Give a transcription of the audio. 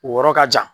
O yɔrɔ ka jan